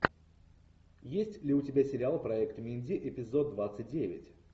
есть ли у тебя сериал проект минди эпизод двадцать девять